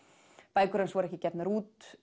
bækur hans voru ekki gefnar út